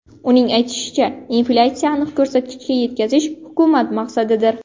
Uning aytishicha, inflyatsiyani aniq ko‘rsatkichga yetkazish hukumat maqsadidir.